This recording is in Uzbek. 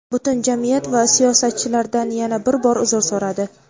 butun jamiyat va siyosatchilardan yana bir bor uzr so‘radi:.